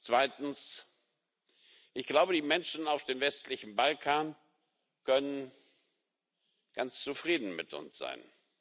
Zweitens Ich glaube, die Menschen auf dem westlichen Balkan können ganz zufrieden mit uns sein.